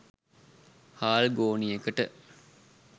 හාල් ගෝනියකට